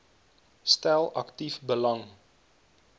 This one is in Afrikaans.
stel aktief belang